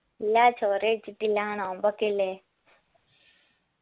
ഇല്ലാ ചോറ് കഴിച്ചിട്ടില്ല നോമ്പൊക്കെ അല്ലെ